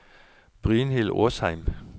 Brynhild Åsheim